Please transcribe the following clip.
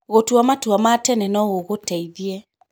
Gũtua matua ma tene no gũgũteithie.